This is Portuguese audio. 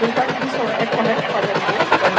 Tentaram, o Cristo falou, é correto pagar imposto?